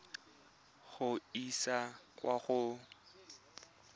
go e isa kwa go